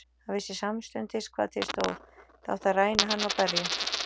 Hann vissi samstundis hvað til stóð, það átti að ræna hann og berja.